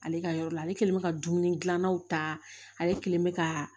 Ale ka yɔrɔ la ale kelen bɛ ka dumuni gilannaw ta ale kɛlen bɛ ka